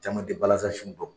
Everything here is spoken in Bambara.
Caman te balasan sun dɔn